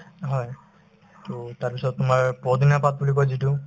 হয়, to তাৰপিছত তোমাৰ পদিনাৰ পাত বুলি কই যিটো